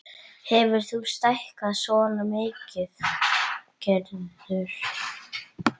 Hefurðu stækkað svona mikið, Gerður?